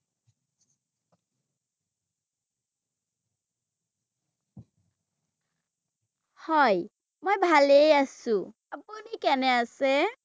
হয়, মই ভালেই আছো ৷ আপুনি কেনে আছে?